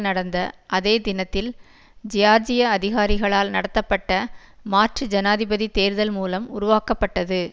நடந்த அதே தினத்தில் ஜியார்ஜிய அதிகாரிகளால் நடத்தப்பட்ட மாற்று ஜனாதிபதி தேர்தல் மூலம் உருவாக்கப்பட்டது